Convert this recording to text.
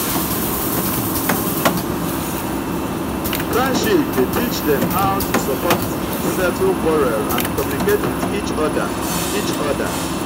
friendship de teach dem how to support settle quarell and communicate with each other each other